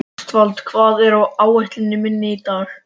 Ástvald, hvað er á áætluninni minni í dag?